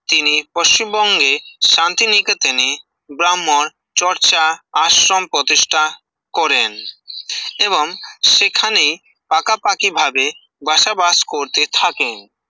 তিনি পশ্চিমবঙ্গে শান্তিনিকেতনে ব্রাহ্মণ চর্চা আশ্রম প্রতিষ্ঠা করেন এবং সেখানে পাশাপাশিভাবে বসবাস করতে থাকেন